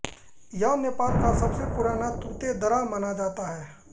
यह नेपाल का सबसे पुराना तुतेदरा माना जाता है